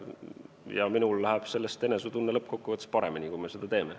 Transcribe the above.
Ja minul läheb sellest enesetunne lõppkokkuvõttes paremaks, kui me seda teeme.